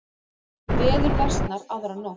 Veður versnar aðra nótt